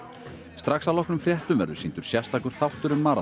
strax að loknum fréttum verður sýndur sérstakur þáttur um